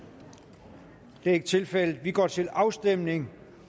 det er ikke tilfældet vi går til afstemning